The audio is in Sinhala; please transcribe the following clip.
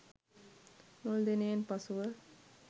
මුල් දිනයෙන් පසුව